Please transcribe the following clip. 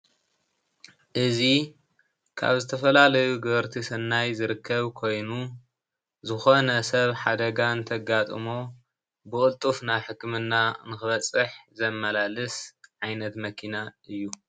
እዚ ካብ ዝተፈላየዩ ገበርቲ ሰናይ ዝርከብ ኮይኑ ሰብ ሓደጋ እተጋጥሞ ብቕልጡፍ ናብ ሕክምና ንክበፅሕ ዘመላልስ ዓይነት መኪና እያ፡፡